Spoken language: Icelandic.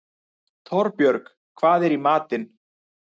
Torbjörg, hvað er í matinn?